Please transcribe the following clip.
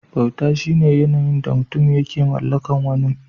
Bauta shine yanayin da mutum yake mallakar wani mutum.